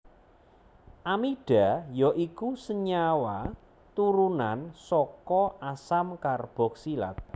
Amida ya iku senyawa turunan saka asam karboksilat